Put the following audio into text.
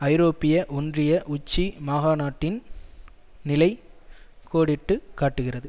ஐரோப்பிய ஒன்றிய உச்சி மகாநாட்டின் நிலை கோடிட்டு காட்டுகிறது